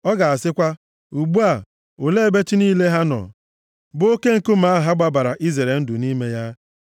Ọ ga-asịkwa, “Ugbu a, olee ebe chi niile ha nọ, bụ oke nkume ahụ ha gbabara izere ndụ nʼime ya,